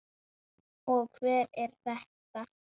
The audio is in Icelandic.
Og hver er þetta?